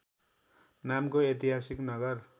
नामको ऐतिहासिक नगर